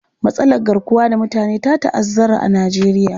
Matsalar garkuwar da mutane ta ta'azzara a Nijeriya.